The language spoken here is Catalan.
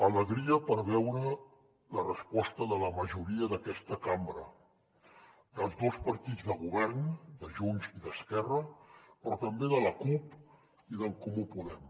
alegria perquè he vist la resposta de la majoria d’aquesta cambra dels dos partits del govern de junts i d’esquerra però també de la cup i d’en comú podem